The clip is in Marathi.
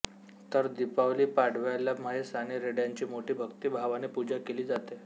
तर दीपावली पाडव्याला म्हैस आणि रेड्यांची मोठ्या भक्ती भावाने पुजा केली जाते